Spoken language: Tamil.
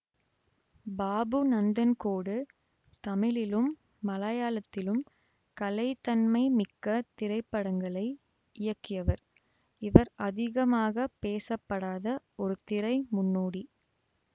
பாபு நந்தன்கோடு தமிழிலும் மலையாளத்திலும் கலைத்தன்மை மிக்க திரைப்படங்களை இயக்கியவர் இவர் அதிகமாக பேசப்படாத ஒரு திரை முன்னோடி